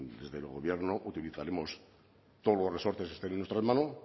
desde el gobierno utilizaremos todos los resortes que estén en nuestra mano